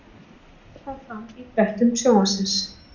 Þetta kom fram í fréttum Sjónvarpsins